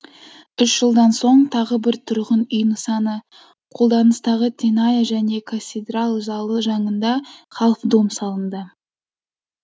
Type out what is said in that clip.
үш жылдан соң тағы бір тұрғын үй нысаны қолданыстағы теная және касидрал залы жанында халф дом салынды